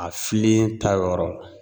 A filen ta yɔrɔ